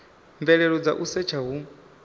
mvelelo dza u setsha hu